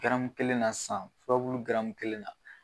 kelen na sisan furabulu kelen na